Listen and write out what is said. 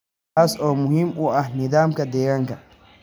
taas oo muhiim u ah nidaamka deegaanka.